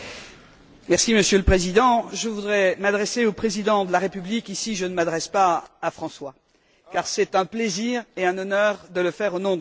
Monsieur le Président, je voudrais m'adresser au Président de la République ici, je ne m'adresse pas à François car c'est un plaisir et un honneur de le faire au nom de mon groupe.